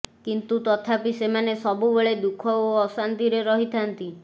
କିନ୍ତୁ ତଥାପି ସେମାନେ ସବୁବେଳେ ଦୁଃଖ ଓ ଅଶାନ୍ତିରେ ରହିଥାନ୍ତି